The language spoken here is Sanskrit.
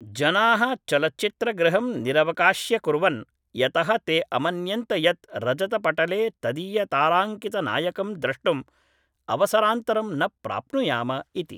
जनाः चलच्चित्रगृहं निरवकाश्यकुर्वन्, यतः ते अमन्यन्त यत् रजतपटले तदीयताराङ्कितनायकं द्रष्टुम् अवसरान्तरं न प्राप्नुयाम इति।